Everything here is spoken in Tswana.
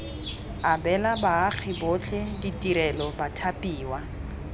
abela baagi botlhe ditirelo bathapiwa